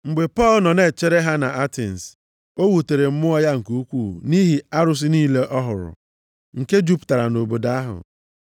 Mgbe Pọl nọ na-echere ha nʼAtens, o wutere mmụọ ya nke ukwuu nʼihi arụsị niile ọ hụrụ, nke jupụtara nʼobodo ahụ.